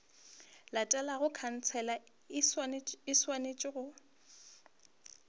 latelago khansele e swanetše go